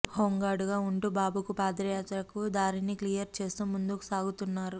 హోంగార్డుగా ఉంటూ బాబుకు పాదయాత్రకు దారిని క్లియర్ చేస్తూ ముందుకు సాగుతున్నారు